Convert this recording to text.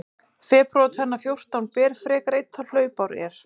Febrúar tvenna fjórtán ber frekar einn þá hlaupár er.